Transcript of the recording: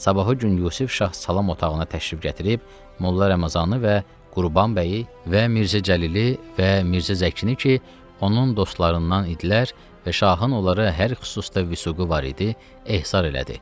Sabahı gün Yusif şah salam otağına təşrif gətirib, Molla Ramazanı və Qurban bəyi və Mirzə Cəlili və Mirzə Zəkini ki, onun dostlarından idilər və şahın onlara hər xüsusda vüsūqu var idi, ehsar elədi.